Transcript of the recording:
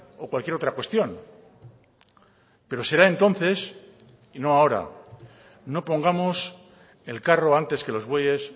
o cualquier otra cuestión pero será entonces y no ahora no pongamos el carro antes que los bueyes